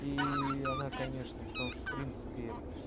ии она конечно потому что в принципе